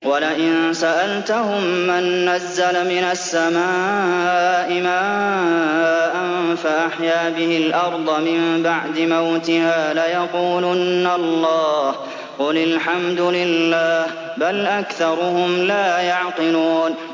وَلَئِن سَأَلْتَهُم مَّن نَّزَّلَ مِنَ السَّمَاءِ مَاءً فَأَحْيَا بِهِ الْأَرْضَ مِن بَعْدِ مَوْتِهَا لَيَقُولُنَّ اللَّهُ ۚ قُلِ الْحَمْدُ لِلَّهِ ۚ بَلْ أَكْثَرُهُمْ لَا يَعْقِلُونَ